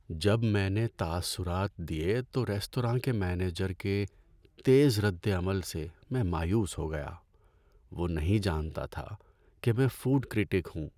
جب میں نے تاثرات دیے تو ریستوراں کے مینیجر کے تیز ردعمل سے میں مایوس ہو گیا۔ وہ نہیں جانتا تھا کہ میں فوڈ کریٹک ہوں۔